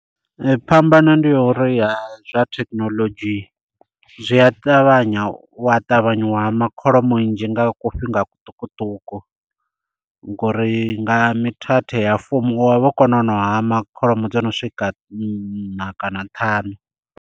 Phambano ndi ya uri ya zwa thekhinolodzhi zwi a ṱavhanya u wa ṱavhanya wa hama kholomo nnzhi nga ku fhinga kuṱukuṱuku. Ngori nga mithethe ya fumi u wa vha wo kona u hama kholomo dzo no swika nṋa kana ṱhanu.